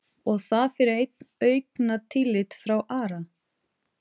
Og það fyrir eitt augnatillit frá Ara?